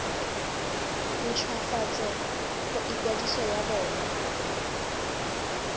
nt hwafatse ikwadiso ya bona